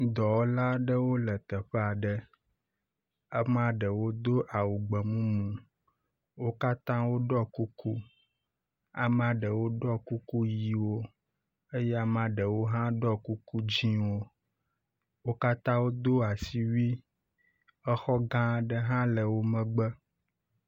Dɔwɔla aɖewo le teƒe aɖe. Amea ɖewo do awu gbe mumu, wo katã woɖɔ kuku, ame aɖewo ɖɔ kuku ʋiwo eye ame ɖewo ɖɔ kuku dziwo wo katã ɖɔ asiwui, exɔ gã ɖe hã le wo megbe.